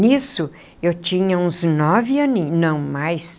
Nisso, eu tinha uns nove aninho, não, mais.